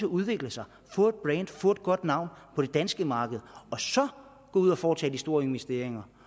udvikle sig få et få et godt navn på det danske marked og så gå ud og foretage de store investeringer